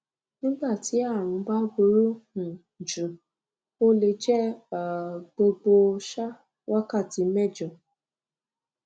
nígbà tí àrùn bá burú um jù ó le jẹ um gbogbo um wákàtí mẹjọ